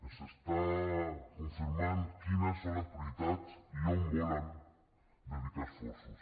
ens està confirmant quines són les prioritats i on volen dedicar esforços